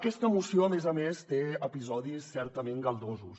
aquesta moció a més a més té episodis certament galdosos